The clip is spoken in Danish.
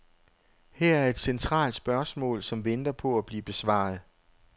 Her er et centralt spørgsmål, som venter på at blive besvaret.